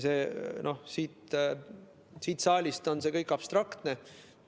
Siit saalist paistab see kõik abstraktne.